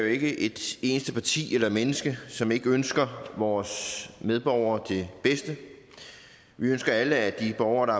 ikke et eneste parti eller et eneste menneske som ikke ønsker vores medborgere det bedste vi ønsker alle at de borgere der